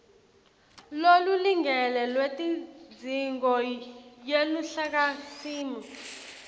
lolulingene lwetidzingo yeluhlakasimo